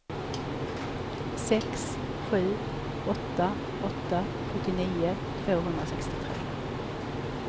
sex sju åtta åtta sjuttionio tvåhundrasextiotre